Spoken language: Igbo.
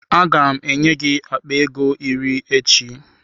Aga m enye gị akpa ego iri echi.